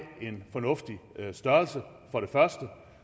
en fornuftig størrelse